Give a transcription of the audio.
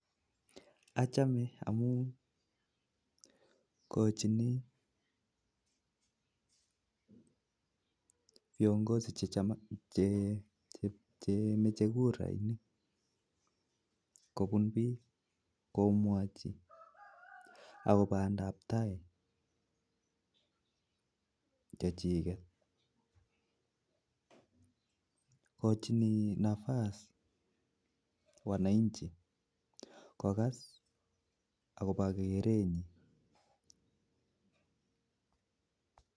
Achame amuu ikojini kandoik chekikwee komwochi bik akobo tetutik chetesetai akokas akobo kerenyi eng emet